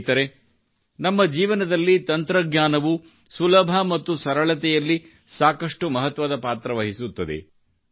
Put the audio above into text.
ಸ್ನೇಹಿತರೇ ನಮ್ಮ ಜೀವನದಲ್ಲಿ ತಂತ್ರಜ್ಞಾನವು ಸುಲಭ ಮತ್ತು ಸರಳತೆಯಲ್ಲಿ ಸಾಕಷ್ಟು ಮಹತ್ವದ ಪಾತ್ರ ವಹಿಸುತ್ತದೆ